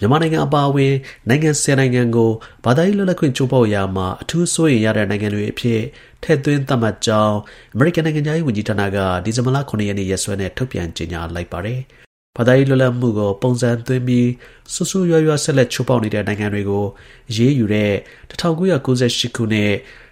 မြန်မာနိုင်ငံ အပါအဝင် နိုင်ငံ ၁၀ နိုင်ငံကို ဘာသာရေး လွတ်လပ်ခွင့် ချိုးဖောက်ရာမှာ အထူး စိုးရိမ်ရတဲ့ နိုင်ငံတွေအဖြစ် ထည့်သွင်း သတ်မှတ်ကြောင်း အမေရိကန် နိုင်ငံခြားရေး ဝန်ကြီးဌာနက ဒီဇင်ဘာလ ၇ ရက်နေ့ရက်စွဲနဲ့ထုတ်ပြန်ကြေညာလိုက်ပါတယ်။ ဘာသာရေး လွတ်လပ်မှုကို ပုံစံသွင်းပြီး ဆိုးဆိုးရွားရွား ဆက်လက် ချိုးဖောက်နေတဲ့ နိုင်ငံတွေကို အရေးယူတဲ့ ၁၉၉၈ ခုနှစ်၊